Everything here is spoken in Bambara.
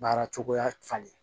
Baara cogoya falen